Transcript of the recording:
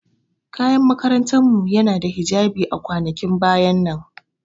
Kayan makarantar mu yana da hijabi a kwanakin baya nan.